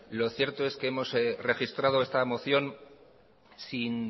lo cierto es que hemos registrado esta moción sin